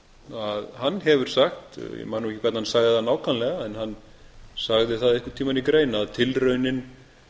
að hann hefur sagt ég man nú ekki hvernig hann sagði það nákvæmlega en hann sagði það einhvern tímann í grein að tilraunin